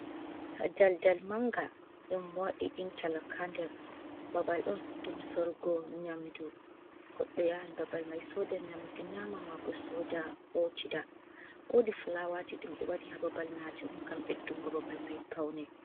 Ha dal dal manga ɗum madi inta lok ha nder ɓabal on ɗum sorgo nyamdu, goddo yahan babal mai soda nyamdu nyama ma bo soda hotida, wodi fulawaji ɗum ɓe waɗi ha babal Majun ngam ɓeddugo babal mai pauni.